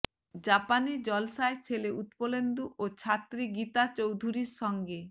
জাপানে জলসায় ছেলে উৎপলেন্দু ও ছাত্রী গীতা চৌধুরীর সঙ্গে